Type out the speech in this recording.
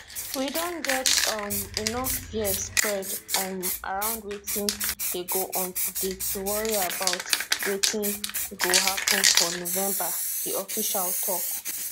we don get um enough fear spread um around wetin dey go on today to worry about wetin gio happun for november di official tok